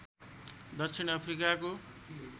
दक्षिण अफ्रिकाको